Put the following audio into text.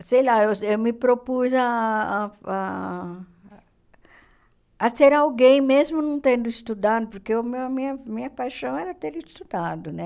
Sei lá, eu eu me propus ah a... A ser alguém, mesmo não tendo estudado, porque o meu a minha a minha paixão era ter estudado, né?